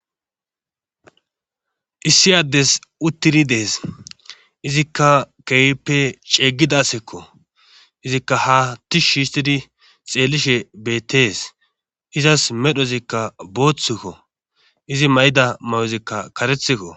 Issi addes uttiri dees izikka keeyppe ceeggidasekko izikka ha tish shiistidi xeellishe beettees izas medhozikka booththkko izi mayda may'ozikka karethikko.